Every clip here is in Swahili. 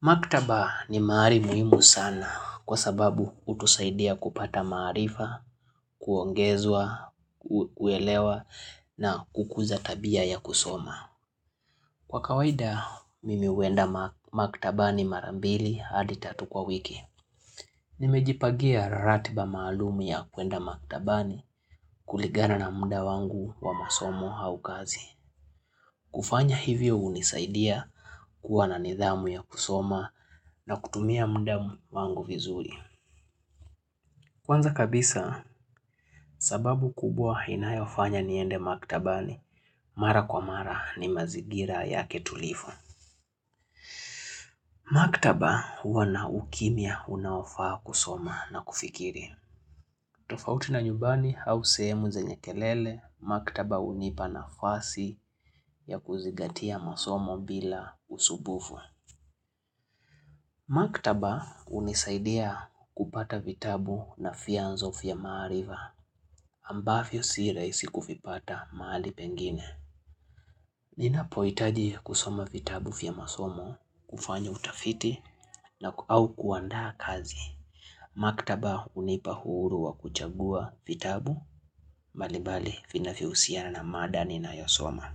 Maktaba ni mahali muhimu sana kwa sababu hutusaidia kupata maarifa, kuongezwa, kuelewa na kukuza tabia ya kusoma. Kwa kawaida, mimi huenda maktaba mara mbili hadi tatu kwa wiki. Nimejipangia ratiba maalum ya kwenda maktaba kulingana na muda wangu wa masomo au kazi Kufanya hivyo hunisaidia kuwa na nidhamu ya kusoma na kutumia muda wangu vizuri. Kwanza kabisa, sababu kubwa inayofanya niende maktabani, mara kwa mara ni mazigira ya tulivu. Maktaba huwa na ukimya unaofaa kusoma na kufikiri. Tofauti na nyumbani au sehemu zenye kelele, maktaba hunipa nafasi ya kuzingatia masomo bila usumbufu. Maktaba unisaidia kupata vitabu na vyanzo vya maarifa ambavyo sirahisi kuvipata mahali pengine. Ninapoitaji kusoma vitabu vya masomo, kufanya utafiti na au kuandaa kazi. Maktaba unipa uhuru wa kuchagua vitabu mbalimbali vinavyohusiana na mada ninayosoma.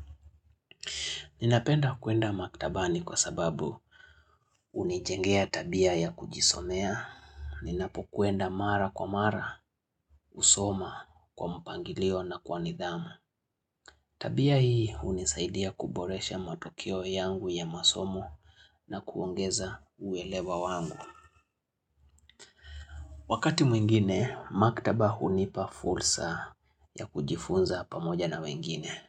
Ninapenda kuenda maktaba ni kwa sababu unijengea tabia ya kujisomea. Ninapo kuenda mara kwa mara usoma kwa mpangilio na kwa nidhamu Tabia hii hunisaidia kuboresha matukio yangu ya masomo na kuongeza uwelewa wangu Wakati mwingine, maktaba hunipa fursa ya kujifunza pamoja na wengine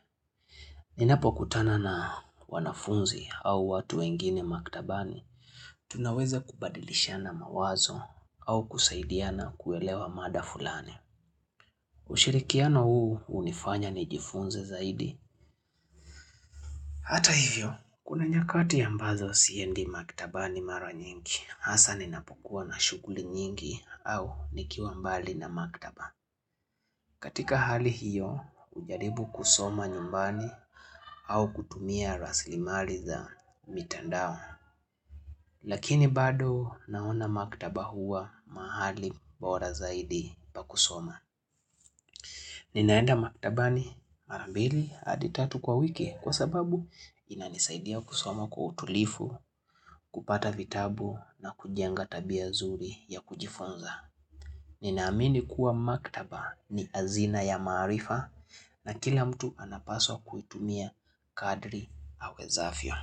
Ninapo kutana na wanafunzi au watu wengine maktabani Tunaweza kubadilishana mawazo au kusaidiana kuelewa mada fulani Ushirikiano huu unifanya ni jifunze zaidi Hata hivyo, kuna nyakati ambazo siendi maktaba ni mara nyingi Hasa ninapokua na shughuli nyingi au nikiwa mbali na maktaba Katika hali hiyo, ujaribu kusoma nyumbani au kutumia rasilimari za mitandao Lakini bado naona maktaba hua mahali bora zaidi pakusoma Ninaenda maktabani marambili hadi tatu kwa wiki kwa sababu inanisaidia kusoma kwa utulivu, kupata vitabu na kujenga tabia zuri ya kujifunza. Ninaamini kuwa maktaba ni hazina ya maarifa na kila mtu anapaswa kuitumia kadri hawezavyo.